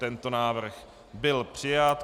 Tento návrh byl přijat.